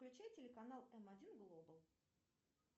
включи телеканал м один глобал